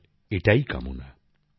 সবার এটাই কামনা